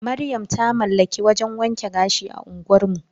Maryam ta mallaki wajan wanke gashi a unguwar mu.